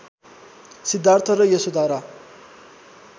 सिद्धार्थ र यशोधरा